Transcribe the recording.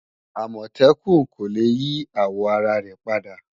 Àmọ̀tẹ́kùn kò le yí àwò ara rẹ̀ padà